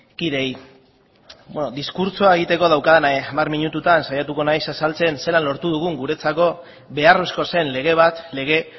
kideei bueno diskurtsoa egiteko daukadan hamar minututan saiatuko naiz azaltzen zelan lortu dugun guretzako beharrezkoa zen lege bat lege